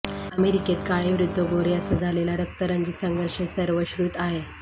अमेरिकेत काळे विरूद्ध गोरे असा झालेला रक्तरंजित संघर्ष सर्वश्रुत आहे